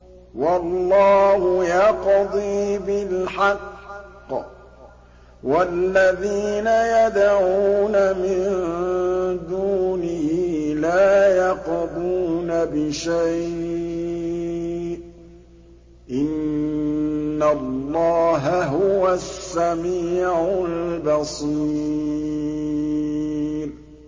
وَاللَّهُ يَقْضِي بِالْحَقِّ ۖ وَالَّذِينَ يَدْعُونَ مِن دُونِهِ لَا يَقْضُونَ بِشَيْءٍ ۗ إِنَّ اللَّهَ هُوَ السَّمِيعُ الْبَصِيرُ